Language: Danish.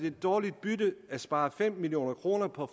et dårligt bytte at spare fem million kroner på